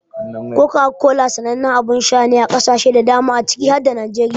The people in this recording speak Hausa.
Coca-Cola sanannen abin sha ne a kasashe da dama na duniya ciki har da Najeriya.